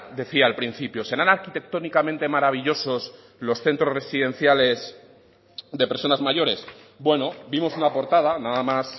decía al principio serán arquitectónicamente maravillosos los centros residenciales de personas mayores bueno vimos una portada nada más